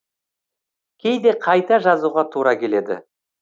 кейде қайта жазуға тура келеді